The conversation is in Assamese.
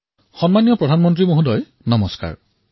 আদৰণীয়া প্ৰধানমন্ত্ৰী মহোদয় নমস্কাৰ